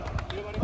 Sol!